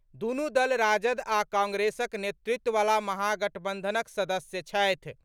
दूनु दल राजद आ कांग्रेसक नेतृत्ववला महागठबंधनक सदस्य छथि।